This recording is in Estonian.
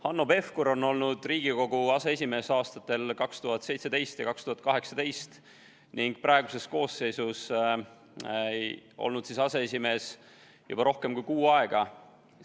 Hanno Pevkur on olnud Riigikogu aseesimees aastatel 2017 ja 2018 ning praeguses koosseisus olnud aseesimees juba rohkem kui kuu aega.